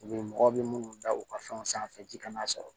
U bɛ mɔgɔ bɛ minnu da u ka fɛnw sanfɛ ji kana sɔrɔ